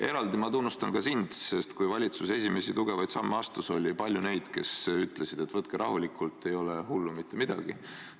Eraldi tunnustan ma ka sind, sest kui valitsus esimesi tugevaid samme astus, oli palju neid, kes ütlesid, et võtke rahulikult, ei ole hullu midagi.